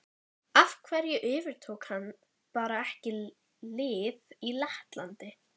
Af hverju yfirtók hann bara ekki lið í Lettlandi?